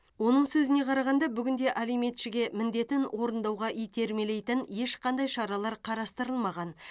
оның сөзіне қарағанда бүгінде алиментшіге міндетін орындауға итермелейтін ешқандай шаралар қарастырылмаған